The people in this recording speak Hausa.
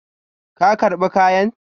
Ka karba kayan?